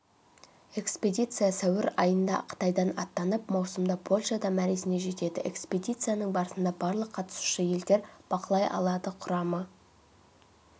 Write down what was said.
экспедиция сәуір айындақытайдан аттанып маусымда польшада мәресіне жетеді экспедицияның барысын барлық қатысушы елдер бақылай алады құрамы